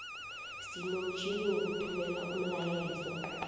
sinomtjhini wokuthumela umlayeezo